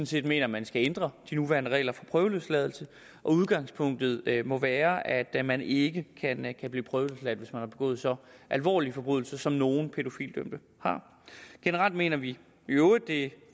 set mener at man skal ændre de nuværende regler for prøveløsladelse udgangspunktet må være at man ikke kan ikke kan blive prøveløsladt hvis man har begået så alvorlige forbrydelser som nogle pædofilidømte har generelt mener vi i øvrigt det er